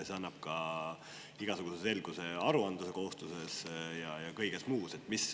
See annaks ka igasuguse selguse aruandluskohustuses ja kõiges muus.